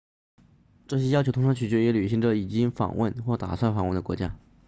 这些要求通常取决于旅行者已经访问或打算访问的国家